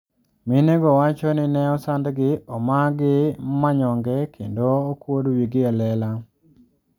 Minego wacho ni ne osandgi, omagi manyoge kendo okuod wigi e lela.